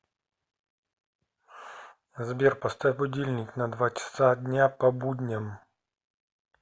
сбер поставь будильник на два часа дня по будням